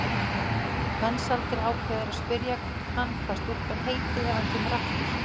Mensalder ákveður að spyrja hann hvað stúlkan heiti ef hann kemur aftur.